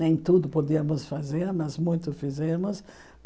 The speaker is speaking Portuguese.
Nem tudo podíamos fazer, mas muito fizemos.